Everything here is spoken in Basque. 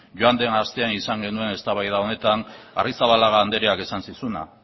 joan den astean izan genuen eztabaida honetan arrizabalaga andreak esan zizuna